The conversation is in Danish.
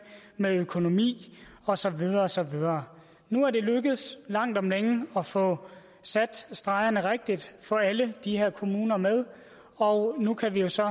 med økonomi og så videre og så videre nu er det lykkedes langt om længe at få sat stregerne rigtigt få alle de her kommuner med og nu kan vi jo så